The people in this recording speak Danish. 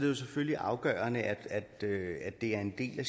det selvfølgelig afgørende at det er en del af